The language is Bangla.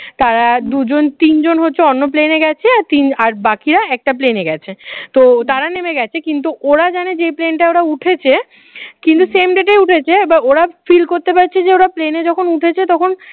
তারা দুজন তিনজন হচ্ছে অন্য plane এ গেছে আর তিন আর বাকিরা একটা plane এ গেছে। তো তারা নেমে গেছে কিন্তু ওরা জানে যে plane টা ওরা উঠেছে কিন্তু same date এ উঠেছে এবার ওরা feel করতে পারছে ওরা plane এ যখন উঠেছে তখন